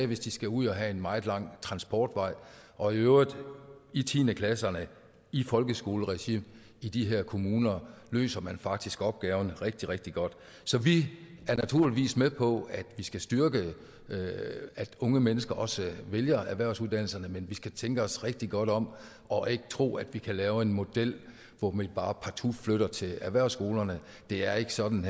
hvis de skal ud og have en meget lang transportvej og i øvrigt i tiende klasserne i folkeskoleregi i de her kommuner løser man faktisk opgaverne rigtig rigtig godt så vi er naturligvis med på at vi skal styrke at unge mennesker også vælger erhvervsuddannelserne men vi skal tænke os rigtig godt om og ikke tro at vi kan lave en model hvor vi bare partout flytter dem til erhvervsskolerne det er ikke sådan